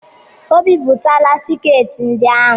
O bipụtala tiketi ndị ahụ.